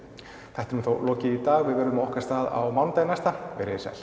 þættinum er þá lokið í dag við verðum á okkar stað á mánudaginn næsta verið þið sæl